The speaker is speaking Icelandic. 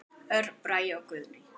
Örn Bragi og Guðný.